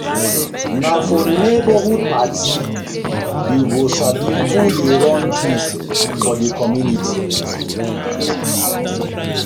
Na for neighborhood party you go sabi who dey run things for the community.